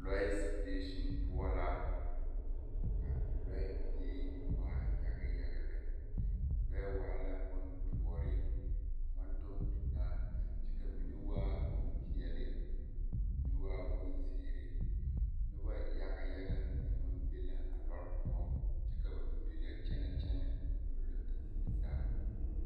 Lɔɛ sidaasiŋ poɔ ka lɔɛ be waa yaga yaga lɛɛ lɔɛ waa la boŋ duori a maŋ kyɔɔŋ tutaa kyɛ ka amine waa bonpeɛle amine waa boŋ zeree noba yaga yaga mine meŋ maŋ be la a noba poɔŋ kyɛ ka bamine yɔkyɛnɛ a goloo a zie zaa.